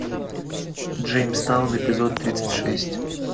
джеймстаун эпизод тридцать шесть